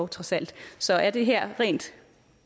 trods alt så er det her rent